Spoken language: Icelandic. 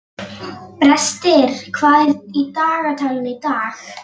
Brestir, hvað er í dagatalinu í dag?